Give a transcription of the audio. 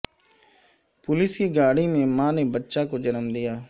police کی گاڑی میں ماں نے بچہ کو جنم دیا